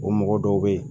O mɔgɔ dɔw bɛ yen